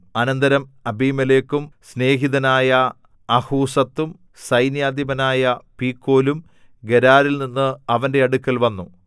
അനന്തരം അബീമേലെക്കും സ്നേഹിതനായ അഹൂസത്തും സൈന്യാധിപനായ പീക്കോലും ഗെരാരിൽനിന്ന് അവന്റെ അടുക്കൽ വന്നു